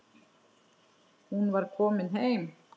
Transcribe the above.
Hún var komin heim.